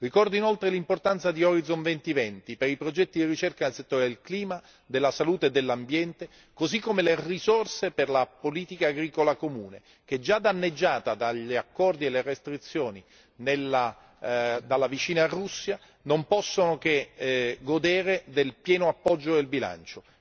Ricordo inoltre l'importanza di Orizzonte 2020, per i progetti di ricerca nel settore del clima, della salute e dell'ambiente, così come le risorse per la politica agricola comune che è già danneggiata dagli accordi e dalle restrizioni dalla vicina Russia non possono che godere del pieno appoggio del bilancio.